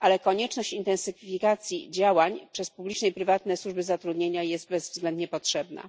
ale konieczność intensyfikacji działań przez publiczne i prywatne służby zatrudnienia jest bezwzględnie potrzebna.